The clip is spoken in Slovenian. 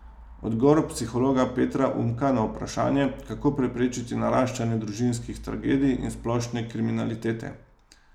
Odgovor psihologa Petra Umka na vprašanje, kako preprečiti naraščanje družinskih tragedij in splošne kriminalitete.